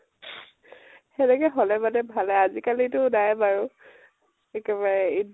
হেনেকে হলে মানে ভালে, আজি কালিতো নাইয়ে বাৰু। একেবাৰে ইত